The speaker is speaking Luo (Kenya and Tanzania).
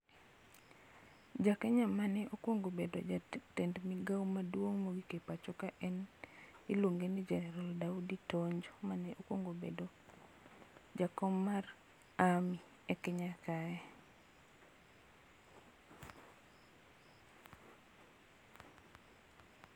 Ja Kenya mane okuongo bedo jatend migao maduong' mogik e pacho ka iluongo ni jener Daudi Tonje, mane okuongo bedo jakom mar army e Kenya kae.